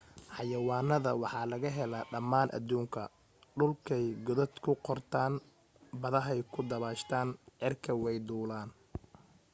xayawaanada waxa laga helaa dhammaan adduunka dhulkay godad ku qortaan badaha ku dabbaashaan cirkana way duulaan